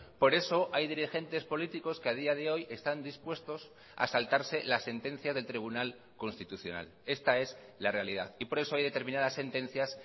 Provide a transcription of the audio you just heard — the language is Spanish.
por eso hay dirigentes políticos que a día de hoy están dispuestos a saltarse la sentencia del tribunal constitucional esta es la realidad y por eso hay determinadas sentencias